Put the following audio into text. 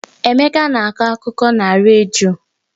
Emeka na-akọ akụkọ na redio.